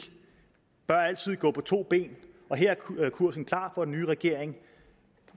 bør altid gå på to ben og her er kursen klar for den nye regering